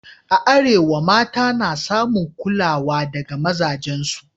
A Arewa, mata na samun kulawa daga mazajensu